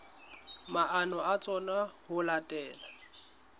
maano a tsona ho latela